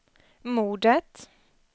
mordet